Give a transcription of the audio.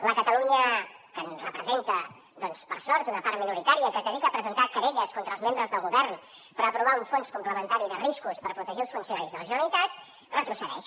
la catalunya que representa per sort una part minoritària que es dedica a presentar querelles contra els membres del govern perquè ha aprovat un fons complementari de riscos per protegir els funcionaris de la generalitat retrocedeix